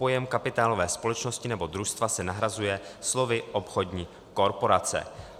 Pojem kapitálové společnosti nebo družstva se nahrazuje slovy obchodní korporace.